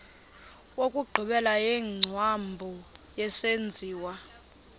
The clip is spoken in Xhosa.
wokugqibela wengcambu yesenziwa